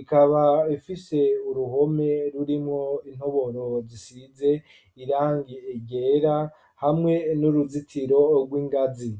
ikaba ifise uruhome rurimwo intoboro zisize irangi ryera hamwe n'uruzitiro rw'ingazi.